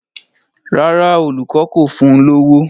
Rárá, olùkọ́ kò fún un lówó.